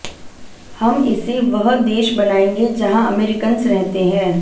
हम इसे वह देश बनाएंगे जहां अमेरिकंस रहते हैं